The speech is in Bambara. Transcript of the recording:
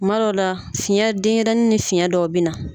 Kuma dɔ la fiyɛn denɲɛrɛnin ni fiyɛn dɔw bɛ na.